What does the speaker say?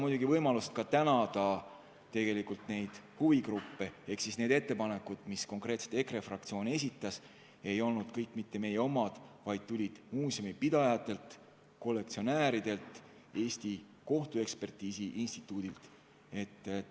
Ma kasutan võimalust ka tänada asjaomaseid huvigruppe – need ettepanekud, mis konkreetselt EKRE fraktsioon esitas, ei olnud kõik mitte meie omad, vaid tulid muuseumipidajatelt, kollektsionääridelt, Eesti Kohtuekspertiisi Instituudilt.